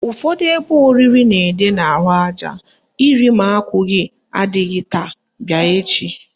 Ụfọdụ ebe oriri na-ede n'ahụaja "Iri ma akwụghị adịghị taa, bịa echi"